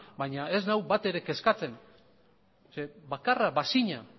baina ez nau batere kezkatzen zeren eta bakarra bazina